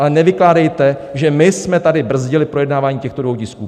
Ale nevykládejte, že my jsme tady brzdili projednávání těchto dvou tisků.